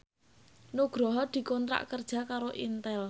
Nugroho dikontrak kerja karo Intel